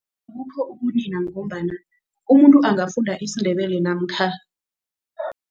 ngombana umuntu angafunda isiNdebele namkha